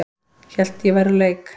Hélt að ég væri úr leik